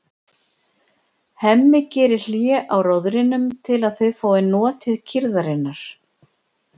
Hemmi gerir hlé á róðrinum til að þau fái notið kyrrðarinnar.